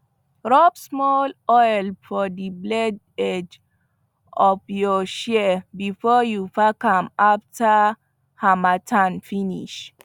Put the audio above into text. rub small oil for the blade edge of your shears before you pack am after harmattan finish